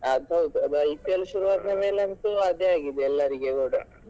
ಅದು ಹೌದು ಅದು IPL ಶುರುವಾದ್ಮೇಲೆ ಅಂತೂ ಅದೇ ಆಗಿದೆ ಎಲ್ಲರಿಗೆ ಕೂಡ.